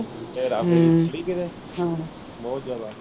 ਹੇਰਾ ਫੇਰੀ ਥੋੜੀ ਕਿਤੇ ਬਹੁਤ ਜਿਆਦਾ।